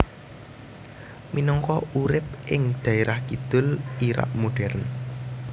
Minangka urip ing dhaerah kidul Irak modern